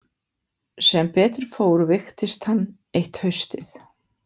Sem betur fór veiktist hann eitt haustið.